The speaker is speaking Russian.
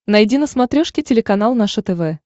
найди на смотрешке телеканал наше тв